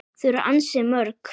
Þau eru ansi mörg.